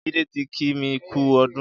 Jide ti kí mi kù ọdùn